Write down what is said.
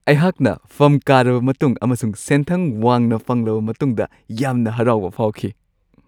ꯑꯩꯍꯥꯛꯅ ꯐꯝ ꯀꯥꯔꯕ ꯃꯇꯨꯡ ꯑꯃꯁꯨꯡ ꯁꯦꯟꯊꯪ ꯋꯥꯡꯅ ꯐꯪꯂꯕ ꯃꯇꯨꯡꯗ ꯌꯥꯝꯅ ꯍꯔꯥꯎꯕ ꯐꯥꯎꯈꯤ ꯫